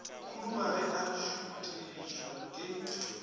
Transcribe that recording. khuduga ge a šuthišwa ke